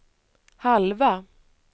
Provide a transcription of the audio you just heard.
halva